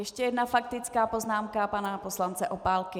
Ještě jedna faktická poznámka pana poslance Opálky.